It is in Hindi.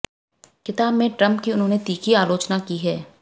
किताब में ट्रंप की उन्होंने तीखी आलोचना की है